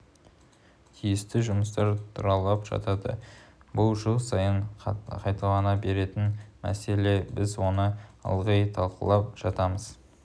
тиісті жұмыстар тұралап жатады бұл жыл сайын қайталана беретін мәселе біз оны ылғи талқылап жатамыз